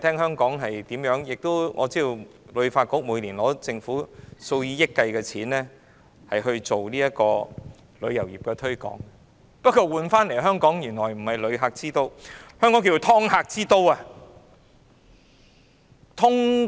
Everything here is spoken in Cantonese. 香港旅遊發展局每年獲政府數以億元計的撥款推廣旅遊業，換來的香港名聲並非旅客之都，而是"劏客"之都。